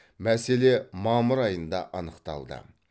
мәселе мамыр айында анықталды